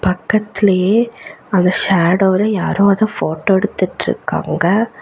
பக்கத்துலயே அந்த ஷேடோல யாரோ அத ஃபோட்டோ எடுத்துட்ருக்காங்க.